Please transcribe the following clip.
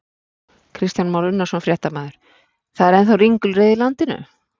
Kristján Már Unnarsson, fréttamaður: Það er ennþá ringulreið í landinu?